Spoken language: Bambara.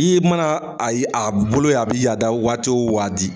I mana a ye a bolo ye a bi a da waati wo waati